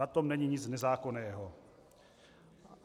Na tom není nic nezákonného.